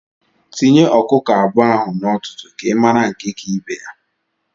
Tinye Ọkụkọ abụọ ahụ na ọtụtụ ka I mara nke ka ibe ya!